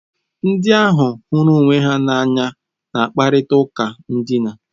Ndị ahụ hụrụ onwe ha n'anya na-akparịta ụka ndịna.